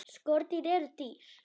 Skordýr eru dýr.